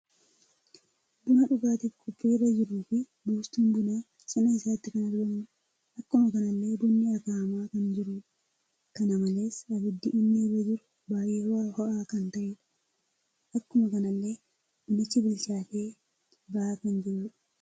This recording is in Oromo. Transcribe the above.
Buna dhugaatiif qophii irra jiru fi buustuun buna cina isaatti kan argamudha. Akkuma kanallee bunni akaa'ama kan jirudha. Kana malees abiddii inni irra jiru baay'ee ho'a kan ta'edha. Akkuma kanallee bunichi bilchaate ba'aa kan jirudha.